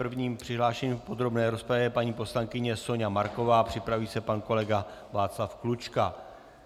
První přihlášenou v podrobné rozpravě je paní poslankyně Soňa Marková, připraví se pan kolega Václav Klučka.